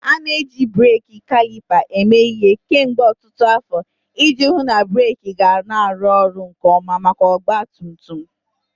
A na-eji breeki kalipa eme ihe kemgbe ọtụtụ afọ iji hụ na breeki ga-arụ ọrụ nke ọma maka ọgba tum tum.